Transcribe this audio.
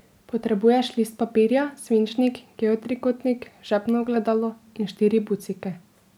Potrebuješ list papirja, svinčnik, geotrikotnik, žepno ogledalo in štiri bucike.